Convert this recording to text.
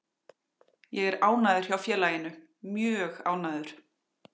Ég er ánægður hjá félaginu, mjög ánægður.